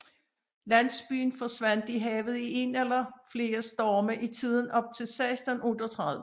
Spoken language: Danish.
Landsbyen forsvandt i havet i en eller flere storme i tiden op til 1638